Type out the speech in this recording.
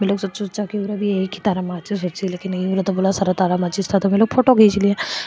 बोला सारा तारा था तो मे लोग फोटो खिंच लिया।